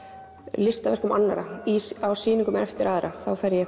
listaverkum annarra á sýningum eftir aðra þá fer ég